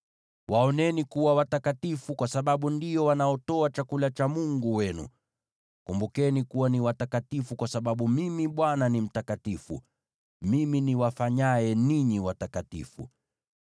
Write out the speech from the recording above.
Waoneni kuwa watakatifu, kwa sababu ndio wanaotoa chakula cha Mungu wenu. Kumbukeni kuwa ni watakatifu, kwa sababu Mimi Bwana ni mtakatifu, Mimi niwafanyaye ninyi kuwa watakatifu.